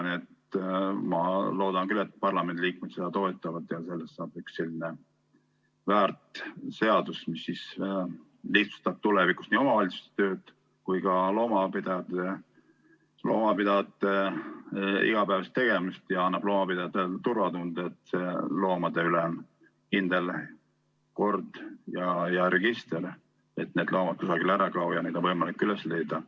Nii et ma loodan küll, et parlamendiliikmed seda toetavad ja sellest saab üks selline väärt seadus, mis lihtsustab tulevikus nii omavalitsuste tööd kui ka loomapidajate igapäevaseid tegemisi ning annab loomapidajatele turvatunde, et loomade üle on kindel kord ja register, et need loomad kusagile ära ei kao ja neid on võimalik üles leida.